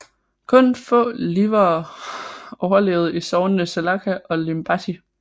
Kun få livere overlevede i sognene Salaca og Limbaži